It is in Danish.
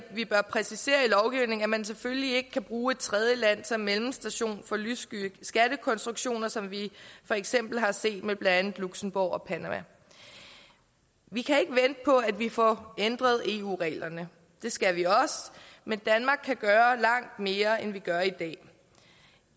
vi bør præcisere i lovgivningen at man selvfølgelig ikke kan bruge et tredjeland som mellemstation for lyssky skattekonstruktioner som vi for eksempel har set med blandt andet luxembourg og panama vi kan ikke vente på at vi får ændret eu reglerne det skal vi også men danmark kan gøre langt mere end vi gør i dag